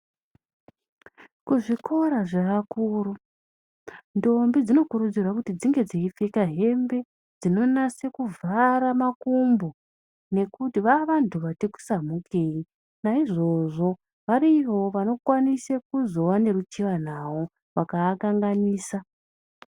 kuzvikora zvevakuru ndombi dzinokurudzirwa kuti dzinge dzeipfeka hembe dzinonase kuvhara makumbo nekuti vavanhu vati samhukei naizvozvo variyowo vanozokwanise kuzova neruchiwa navo vakaakanganisa.